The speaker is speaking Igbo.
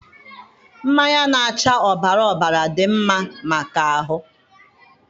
mmanya na-acha ọbara ọbara dị mma maka ahụ